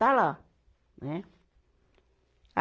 Está lá, né? a